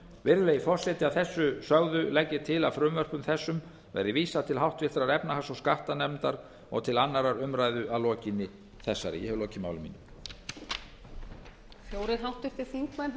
virðulegi forseti að þessu sögðu legg ég til að frumvörpum þessum verði vísað til háttvirtrar efnahags og skattanefndar og til annarrar umræðu að aflokinni þessari ég hef lokið máli mínu